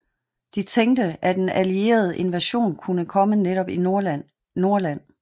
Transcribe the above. De tænkte at en alliereet invasion kunne komme netop i Nordland